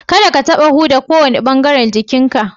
Kadda ka taɓa huda kowane bangaren jikin ka!